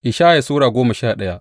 Ishaya Sura goma sha daya